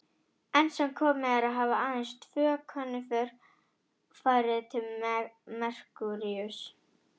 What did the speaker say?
Enn sem komið er hafa aðeins tvö könnunarför farið til Merkúríuss.